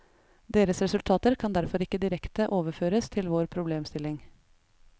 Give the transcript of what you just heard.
Deres resultater kan derfor ikke direkte overføres til vår problemstilling.